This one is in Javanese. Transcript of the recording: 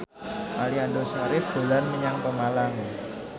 Aliando Syarif dolan menyang Pemalang